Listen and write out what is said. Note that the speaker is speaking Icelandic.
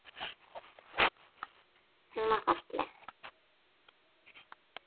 Hún var falleg.